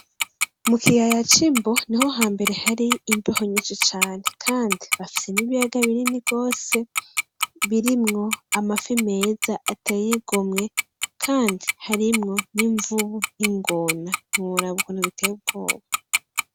Mukiyaya c' imbo niho hambere hari imbeho nyishi cane kandi bafise n' ibiyaga binini gose birimwo amafi meza ateye igomwe kandi harimwo n' imvubu , n' ingona ntiworaba ukuntu biteye ubwoba.